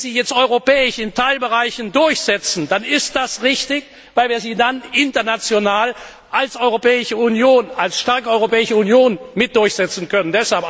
Wenn wir sie jetzt europäisch in Teilbereichen durchsetzen, dann ist das richtig, weil wir sie dann international als starke Europäische Union mit durchsetzen können.